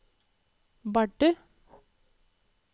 Bardu